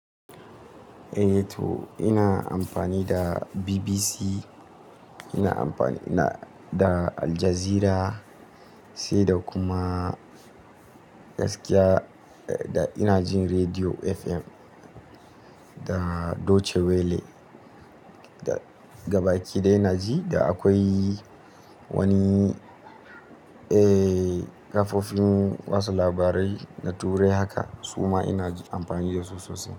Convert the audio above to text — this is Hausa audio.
Eh to ina amfani da BBC, ina amfani da Aljazeera sai da kuma gaskiya ina jin Rediyo FM da Deutsche Welle. Da gaba ki ɗaya ina ji da akwai wani, eh kafofin watsa labarai na turai haka su ma ina amfani da su sosai.